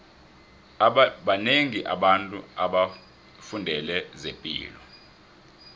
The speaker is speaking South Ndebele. banengi abantu abafundele zepilo